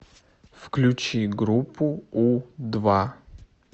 включи группу у два